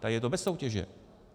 Tady je to bez soutěže.